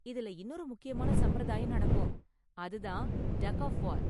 இதுல இன்னொரு முக்கியமான சம்பிரதாயம் நடக்கும், அது தான் டக் ஆஃப் வார்.